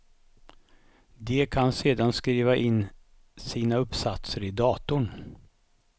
De kan sedan skriva in sina uppsatser i datorn.